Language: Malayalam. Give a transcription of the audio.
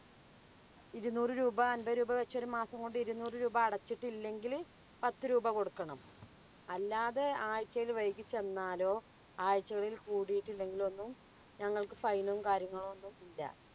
ഇരുനൂറ് രൂപ. അൻപതുരൂപ വെച്ചൊരു മാസം കൊണ്ട് ഇരുനൂറ് രൂപ അടച്ചിട്ടില്ലെങ്കില് പത്തുരൂപ കൊടുക്കണം. അല്ലാതെ ആഴ്ച്ചയില് വൈകിച്ചെന്നാലോ ആഴ്ചകളില് കൂടിയിട്ടില്ലെങ്കിലൊന്നും ഞങ്ങൾക്ക് fine ഉം കാര്യങ്ങളൊന്നും ഇല്ല.